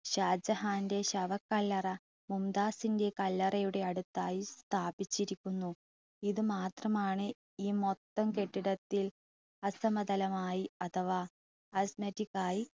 ഷാജഹാൻ്റെ ശവക്കല്ലറ മുംതാസിൻ്റെ കല്ലറയുടെ അടുത്തായി സ്ഥാപിച്ചിരിക്കുന്നു. ഇത് മാത്രമാണ് ഈ മൊത്തം കെട്ടിടത്തിൽ അസമതലമായി അഥവാ